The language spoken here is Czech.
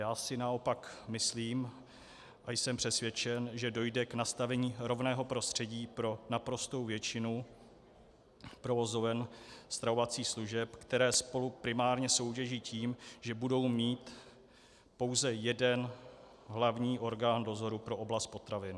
Já si naopak myslím a jsem přesvědčen, že dojde k nastavení rovného prostředí pro naprostou většinu provozoven stravovacích služeb, které spolu primárně soutěží tím, že budou mít pouze jeden hlavní orgán dozoru pro oblast potravin.